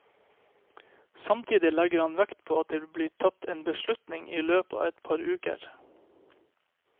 Samtidig legger han vekt på at det vil bli tatt en beslutning i løpet av et par uker.